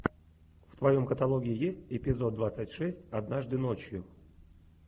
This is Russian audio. в твоем каталоге есть эпизод двадцать шесть однажды ночью